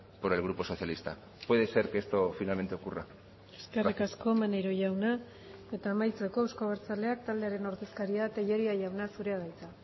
por el grupo socialista puede ser que esto finalmente ocurra eskerrik asko maneiro jauna eta amaitzeko euzko abertzaleak taldearen ordezkaria tellería jauna zurea da hitza